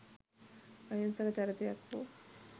අහිංසක චරිතයක් වූ